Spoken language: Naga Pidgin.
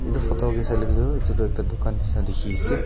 etu photo ke saile tu etu tu ekta dukan nisna dikhi se.